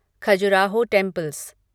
Khajuraho temples